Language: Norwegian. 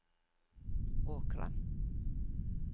Åkra